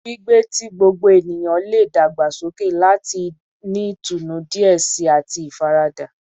Gbigbe ti gbogbo eniyan le dagbasoke lati ni itunu diẹ sii ati ifarada